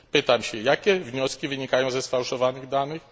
Pytam więc, jakie wnioski wynikają ze sfałszowanych danych?